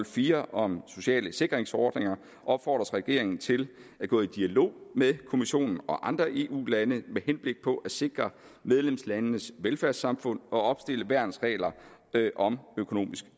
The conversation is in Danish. firs om sociale sikringsordninger opfordres regeringen til at gå i dialog med kommissionen og andre eu lande med henblik på at sikre medlemslandenes velfærdssamfund og opstille værnsregler om økonomisk